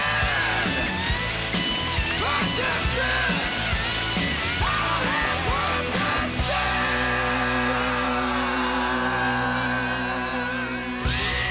við